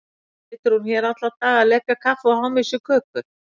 Situr hún hér alla daga að lepja kaffi og háma í sig kökur?